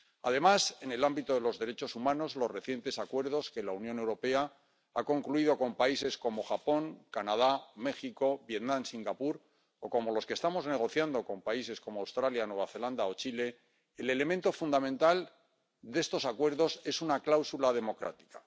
Además, en el ámbito de los derechos humanos, en los recientes acuerdos que la Unión Europea ha concluido con países como Japón, Canadá, México, Vietnam y Singapur, o como los que estamos negociando con países como Australia, Nueva Zelanda o Chile, el elemento fundamental de estos acuerdos es una cláusula democrática.